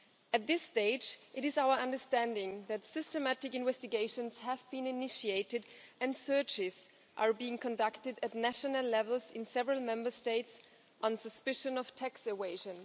At this stage it is our understanding that systematic investigations have been initiated and searches are being conducted at national levels in several Member States on suspicion of tax evasion.